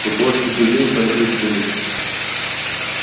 у творческих людей свои причуды